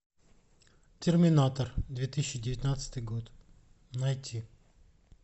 терминатор две тысячи девятнадцатый год найти